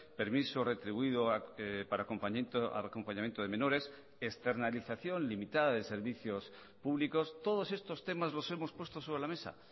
permiso retribuido para acompañamiento de menores externalización limitada de servicios públicos todos estos temas los hemos puesto sobre la mesa